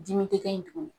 Dimi te kɛ yen tuguni